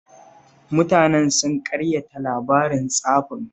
Mutanen sun ƙaryata labarin tsafin